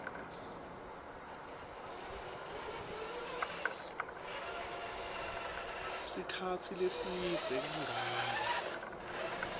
sikhatsi lesidze kangaka